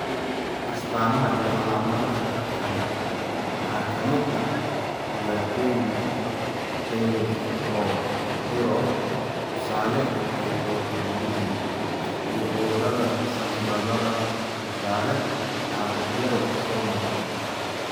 astamaha iyo calaamadaha kale waxaa ka mid ah dhibaatooyinka tayroodh (tusaale, hypothyroidism) iyo cudurrada sambabada (tusaale, caabuqyada soo noqnoqda).